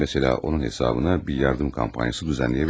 Məsəla, onun hesabına bir yardım kampaniyası düzənləyə bilərik.